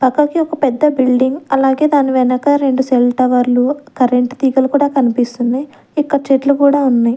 పక్కకి ఒక పెద్ద బిల్డింగ్ అలాగే దాని వెనక రెండు సెల్ టవర్లు కరెంట్ తీగలు కూడా కనిపిస్తున్నాయి ఇక్కడ చెట్లు కూడా ఉన్నాయి.